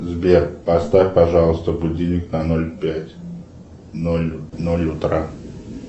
сбер поставь пожалуйста будильник на ноль пять ноль ноль утра